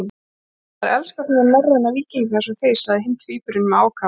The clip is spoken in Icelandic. Þær elska svona norræna víkinga eins og þig, sagði hinn tvíburinn með ákafa.